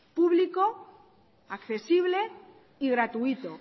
público accesible y gratuito